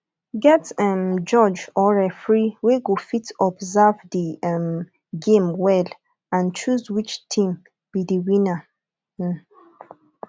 get um judge or referee wey go fit observe di um game well and choose which team be di winner um